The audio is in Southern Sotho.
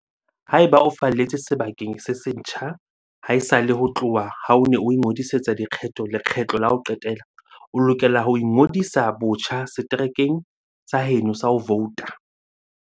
Haeba o falletse sebakeng se setjha haesale ho tloha ha o ne o ingodisetsa dikgetho lekgetlo la ho qetela, o lokela ho ingodisa botjha seterekeng sa heno sa ho vouta.